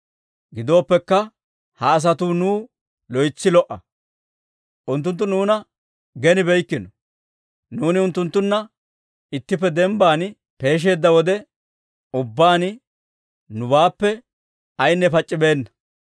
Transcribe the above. Gidoppekka, ha asatuu nuw loytsi lo"a; unttunttu nuuna genibeykkino; nuuni unttunttunna ittippe dembban peesheedda wode ubbaan nubaappe ayaynne pac'c'ibeenna.